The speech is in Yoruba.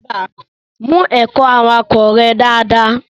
Mu ẹ̀kọ́ awakọ rẹ daradara.